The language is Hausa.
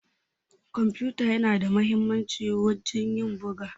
kwamfuta yana da muhimmanci wajen ƴin buga.